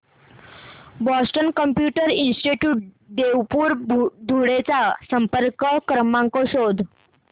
Boston computer institute Devpur Dhule चा संपर्क क्रमांक शोध